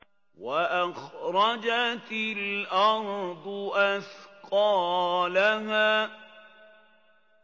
وَأَخْرَجَتِ الْأَرْضُ أَثْقَالَهَا